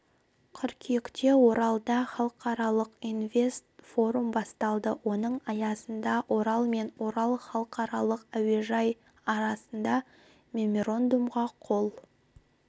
қыркүйекте оралда халықаралық инвест форум басталды оның аясында орал мен орал халықаралық әуежайы арасында меморандумға қол